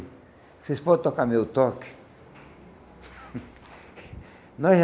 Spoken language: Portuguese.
Vocês podem tocar meu toque? Nós